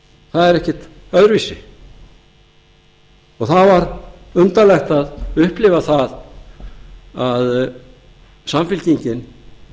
það er ekkert öðruvísi það var undarlegt að upplifa það að samfylkingin